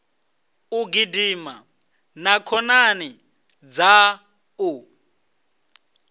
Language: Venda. u gidima na khonani dzaṋu